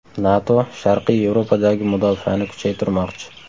NATO Sharqiy Yevropadagi mudofaani kuchaytirmoqchi.